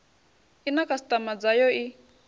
i na khasitama dzayo i